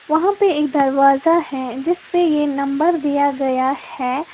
वहां पे एक दरवाजा है जिसपे ये नंबर दिया गया है।